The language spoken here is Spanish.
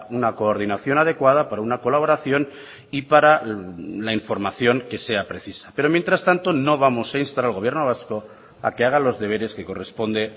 una coordinación adecuada para una colaboración y para la información que sea precisa pero mientras tanto no vamos a instar al gobierno vasco a que haga los deberes que corresponde